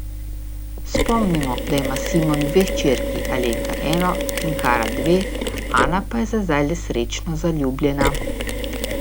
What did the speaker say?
Spomnimo, da ima Simon dve hčerki, Alenka eno, Tinkara dve, Ana pa je za zdaj le srečno zaljubljena.